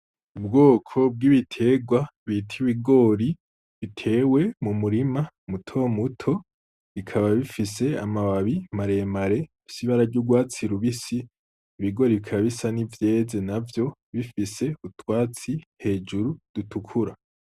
Ubwoko bw'ibitegwa bita ibigori bitewe mu murima muto muto bikaba bifise amababi maremare bifise ibara ry'urwatsi rubisi, ibigori bikaba bisa n'ivyeze navyo , bifise utwatsi hejuru dutukura.